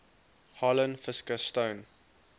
harlan fiske stone